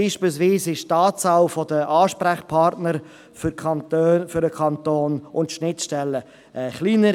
Beispielsweise ist die Zahl der Ansprechpartner für den Kanton und die der Schnittstellen kleiner.